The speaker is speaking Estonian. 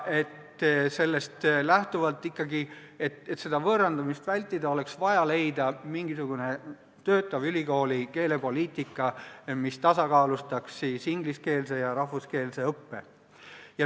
Et sellist võõrandumist vältida, oleks vaja leida mingisugune töötav ülikooli keelepoliitika, mis tasakaalustaks ingliskeelset ja rahvuskeelset õpet.